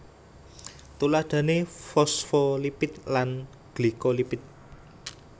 Tuladhané fosfolipid lan glikolipid